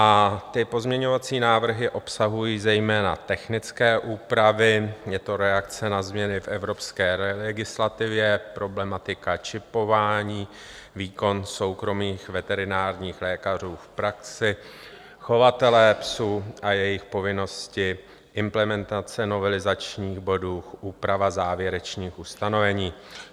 A ty pozměňovací návrhy obsahují zejména technické úpravy, je to reakce na změny v evropské legislativě, problematika čipování, výkon soukromých veterinárních lékařů v praxi, chovatelé psů a jejich povinnosti, implementace novelizačních bodů, úprava závěrečných ustanovení.